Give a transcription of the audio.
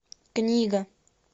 книга